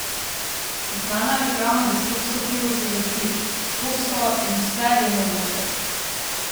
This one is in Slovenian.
Znana reklama za skopsko pivo se glasi: "Skopsko in vse je mogoče".